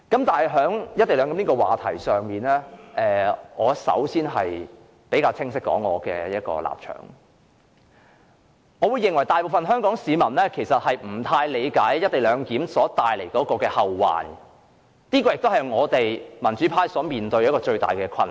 對於"一地兩檢"問題，我首先要清晰說明我的立場：我認為大部分香港市民其實不大理解"一地兩檢"帶來的後患，這也是民主派面對的最大困難。